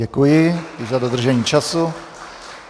Děkuji za dodržení času.